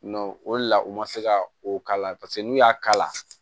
o de la u ma se ka o k'a la paseke n'u y'a kala